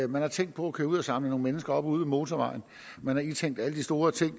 man har tænkt på at køre ud og samle nogle mennesker op ude ved motorvejen man har indtænkt alle de store ting